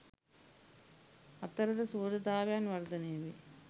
අතරද සුහදතාවයන් වර්ධනය වේ.